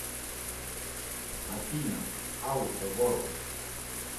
афина ауто ворлд